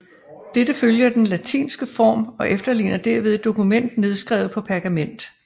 Dette følger den latinske form og efterligner derved et dokument nedskrevet på pergament